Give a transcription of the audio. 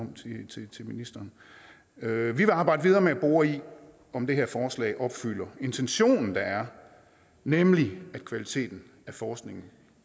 til ministeren vi vil arbejde videre med at bore i om det her forslag opfylder intentionen der er nemlig at kvaliteten af forskningen